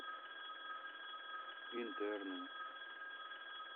интерны